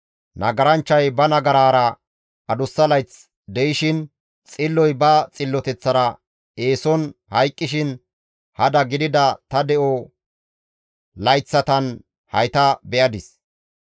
Nagaranchchay ba nagaraara adussa layth de7ishin, xilloy ba xilloteththara eeson hayqqishin hada gidida ta de7o layththatan hayta be7adis.